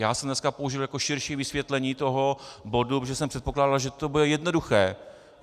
Já jsem dneska použil jako širší vysvětlení toho bodu, protože jsem předpokládal, že to bude jednoduché.